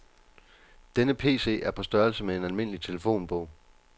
Denne PC er på størrelse med en almindelig telefonbog.